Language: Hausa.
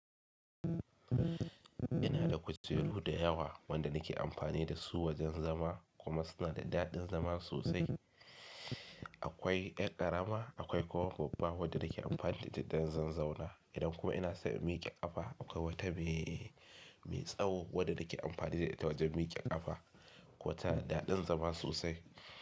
Ina da kujeru da yawa wanda nake amfani da su wajen zama kuma suna da daɗin zama sosai. Akwai ƴar ƙarama akwai kuwa babba wanda nake amfani da ita don zanzauwa. Idan kuma ina so in miƙe kafa akwai wata mai tsaho wadda nake amfani da ita wajen miƙe kafa. Wata daɗin zama sosai.